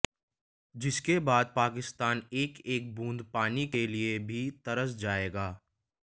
जिसके बाद पाकिस्तान एक एक बूंद पानी के लिए भी तरस जाएगा